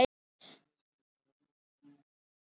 Það gengur bara mjög vel.